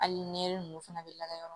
Hali nɛ ninnu fana bɛ lajɛ